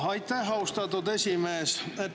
Aitäh, austatud esimees!